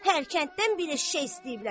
Hər kənddən bir eşşək istəyiblər.